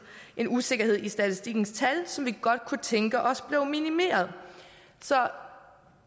en usikkerhed i statistikkens tal som vi godt kunne tænke os blev minimeret så